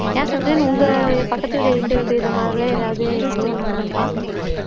ஏன் சஃப்ரின் உங்க பக்கத்து வீடு எதிர்த்த வீட்டு இது மாதிரிலாம் ஏதாவது சம்பவம் நடந்து இருக்கா